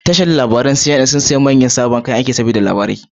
Tashar labarai ta CNN sun siya manyan kayan aiki saboda fita da labarai